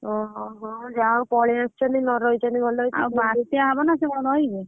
ଅହହ ଯାହା ହଉ ପଳେଇଆସିଛନ୍ତି ଭଲ ହେଇଛି।